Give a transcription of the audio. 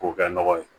K'o kɛ nɔgɔ ye